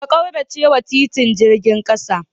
Ka kauracewa titin jirgin kasa.